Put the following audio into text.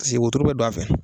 Paseke wotoro bɛ dɔ a fɛ.